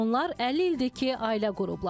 Onlar 50 ildir ki, ailə qurublar.